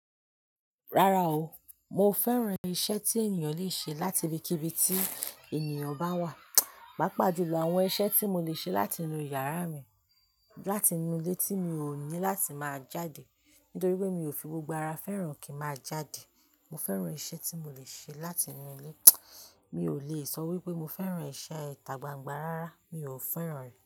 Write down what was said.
Rárá o, mo fẹ́ran iṣẹ́ tí ènìyàn le ṣe láti ibi kí ibi tí ènìyàn bá wà. Pápá jù lọ̀ àwọn iṣẹ́ tí mo lè ṣe láti inú yàrá mi, láti inú ilé tí mi ò ní láti máa jáde nítorí pé mi ò fi gbogbo ara fẹ́ràn kí má jáde. Mo fẹ́ran iṣẹ́ tí mo lè ṣe láti inú ilé. Mi ò le sọ wípé mo fẹ́ran iṣẹ́ ìta gbangba rárá, mi ò fẹ́ran rẹ̀